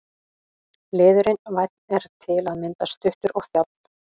Liðurinn- vænn er til að mynda stuttur og þjáll.